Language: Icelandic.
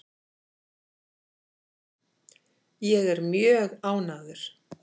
Ég er mjög ánægður.